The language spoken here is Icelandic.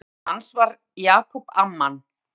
Stofnandi hans var Jacob Amman.